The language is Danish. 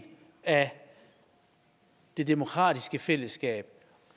af det demokratiske fællesskab